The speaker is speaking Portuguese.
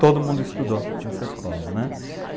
Todo mundo estudou nessa escola, né?